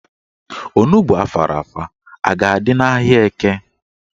Onugbo afara afa a ga-adị n'ahịa Eke?